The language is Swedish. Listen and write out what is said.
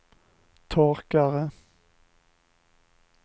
torkare